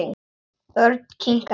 Örn kinkaði kolli.